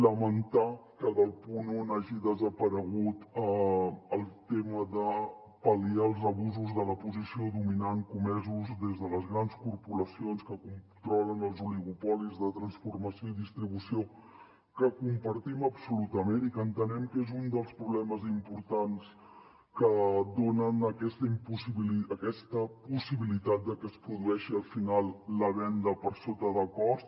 lamentar que del punt un n’hagi desaparegut el tema de pal·liar els abusos de la posició dominant comesos des de les grans corporacions que controlen els oligopolis de transformació i distribució que compartim absolutament i que entenem que és un dels problemes importants que donen aquesta possibilitat de que es produeixi al final la venda per sota de cost